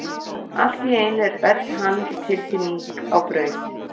Allt í einu er öll hamingjutilfinning á braut.